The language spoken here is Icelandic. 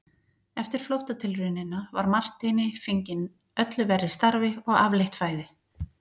Eftir flóttatilraunina var Marteini fenginn öllu verri starfi og afleitt fæði.